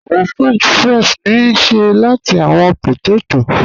Awọn french fries ni a ṣe lati awọn pótètó.